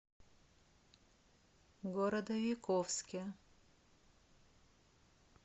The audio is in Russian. городовиковске